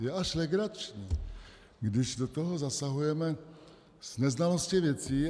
Je až legrační, když do toho zasahujeme s neznalostí věcí.